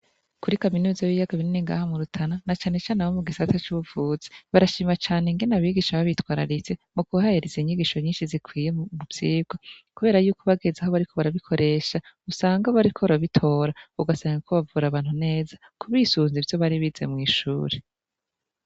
Kuri kaminuza yibiyaga binini ngaha mu Rutana na cane cane abo mugisata cubuvuzi barashima cane ingene abigisha babitwararitse mukubahereza inyigisho nyinshi zikwiye muvyigwa, kuberayuko bageze aho bariko barabikoresha usanga bariko barabitora ugasanga bariko bavura abantu neza bisunze ivyo bari bize mwishure.